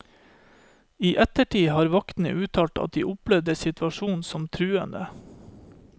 I ettertid har vaktene uttalt at de opplevde situasjonen som truende.